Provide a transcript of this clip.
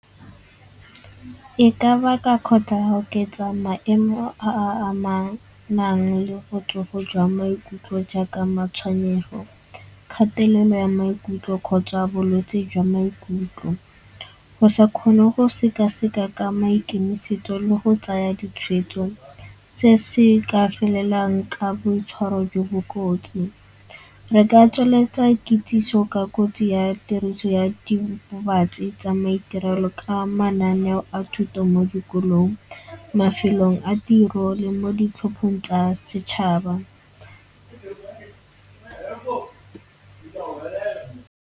E ka baka oketsa maemo a a amanang le botsogo jwa maikutlo jaaka matshwenyego, kgatelelo ya maikutlo kgotsa a bolwetsi jwa maikutlo. Go sa kgone go sekaseka ka maikemisetso le go tsaya ditshwetso se se ka felelang ka boitshwaro jo bo kotsi. Re ka tsweletsa kitsiso ka kotsi ya tiriso ya diritibatsi tsa maiterelo ka mananeo a thuto mo dikolong, mafelong a tiro le mo ditlhopheng tsa setšhaba.